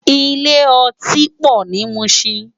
Ilé òtín pò ni Mushin